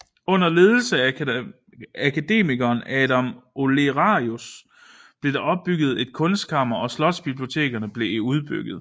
Under ledelse af akademikeren Adam Olearius blev der opbygget et kunstkammer og slotsbiblioteket blev udbygget